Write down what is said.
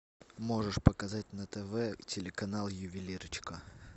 можешь показать на тв телеканал ювелирочка